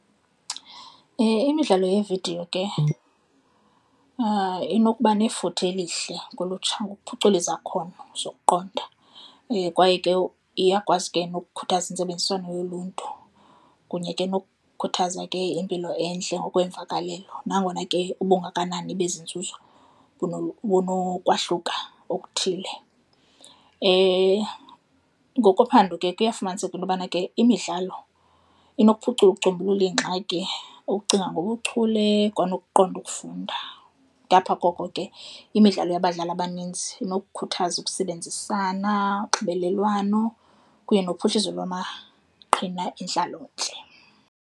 Imidlalo yeevidiyo ke inokuba nefuthe elihle kolutsha ngokuphucula izakhono zokuqonda kwaye ke iyakwazi ke nokukhuthaza intsebenziswano yoluntu kunye ke nokukhuthaza ke impilo entle ngokweemvakalelo nangona ke ubungakanani bezi nzuzo bunokwahluka okuthile. Ngokophando ke kuyafumaniseka into yobana ke imidlalo inokuphucula ukucumbulula iingxaki, ukucinga ngobuchule kwanokuqonda ukufunda. Ngapha koko ke imidlalo yabadlali abaninzi inokukhuthaza ukusebenzisana, unxibelelwano kunye nophuhliso lwamaqhina entlaloentle.